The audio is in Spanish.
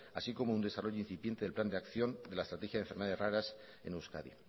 así como un desarrollo incipiente del plan de acción de la estrategia de enfermedades raras en euskadi